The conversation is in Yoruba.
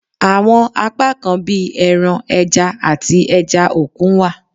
Awọn apakan bi ẹran, ẹja, ati ẹja okun wa